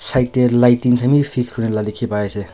Side tey lighting khan bi fit kuri la dekhi pai ase.